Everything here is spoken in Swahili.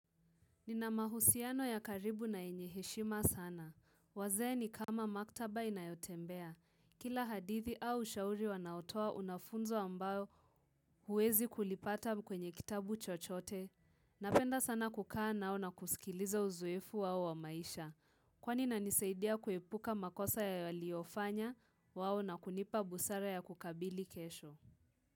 Nina mahusiano ya karibu na yenye heshima sana. Wazee ni kama maktaba inayotembea. Kila hadithi au shauri wanaotoa una funzo ambao huwezi kulipata kwenye kitabu chochote. Napenda sana kukaa nao na kusikiliza uzoefu wao wa maisha. Kwa inanisaidia kuepuka makosa ya waliofanya wao na kunipa busara ya kukabili kesho.